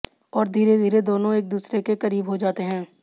और धीरे धीरे दोनों एक दूसरे के करीब हो जाते हैं